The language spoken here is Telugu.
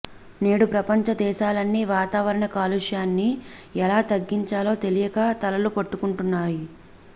నేడు ప్రపంచ దేశాలన్నీ వాతావరణ కాలుష్యాన్ని ఎలా తగ్గించాలో తెలియక తలలు పట్టుకుంటున్నాయి